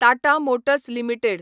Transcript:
Tata Motors limited